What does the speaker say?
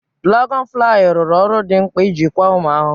Dụlagọnụ fụlaayị rụru ọrụ dị mkpa n'ịjịkwa ụmụ ahụhụ.